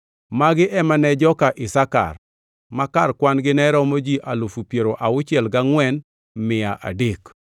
Magi ema ne joka Isakar, ma kar kwan-gi ne romo ji alufu piero auchiel angʼwen gi mia adek (64,300).